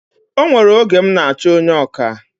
O nwere oge m n'achọ onye ọkà